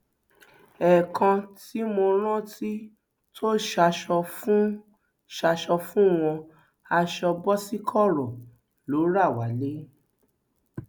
ẹẹkan tí mo rántí tó ṣaṣọ fún ṣaṣọ fún wọn aṣọ boṣikorò ló rà wálé